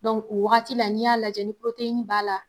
o wagati la n'i y'a lajɛ ni b'a la